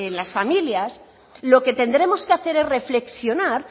las familias lo que tendremos que hacer es reflexionar